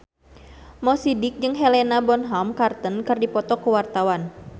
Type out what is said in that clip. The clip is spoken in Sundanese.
Mo Sidik jeung Helena Bonham Carter keur dipoto ku wartawan